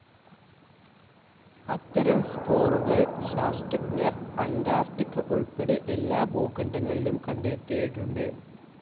അത്തരം സ്പോറുകൾ ശാസ്ത്രജ്ഞർ അൻ്റാർട്ടിക്ക ഉൾപ്പെടെ എല്ലാ ഭൂഖണ്ഡങ്ങളിലും കണ്ടെത്തിയിട്ടുണ്ട്.